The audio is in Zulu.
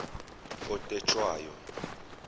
otetshwayo